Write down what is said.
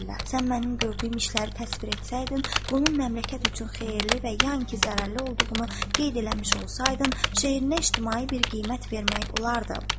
Sən mənim gördüyüm işləri təsvir etsəydin, bunun məmləkət üçün xeyirli və ya iki zərərli olduğunu qeyd eləmiş olsaydın, şeirinə ictimai bir qiymət vermək olardı.